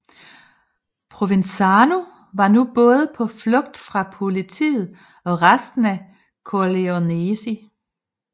Provenzano var nu både på flugt fra politiet og resten af Corleonesi